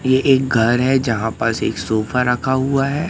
ये एक घर है जहां पास एक सोफा रखा हुआ है।